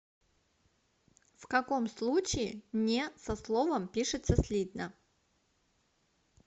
в каком случае не со словом пишется слитно